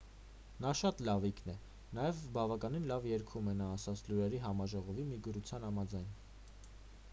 նա շատ լավիկն է նաև բավականին լավ երգում է նա ասաց լուրերի համաժողովի մի գրության համաձայն